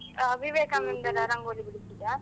ಆ ವಿವೇಕಾನಂದರ ರಂಗೋಲಿ ಬಿಡಿಸುವುದಾ.